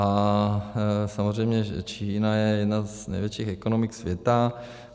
A samozřejmě že Čína je jedna z největších ekonomik světa.